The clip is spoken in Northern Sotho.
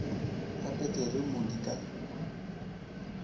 ga peteri mo di ka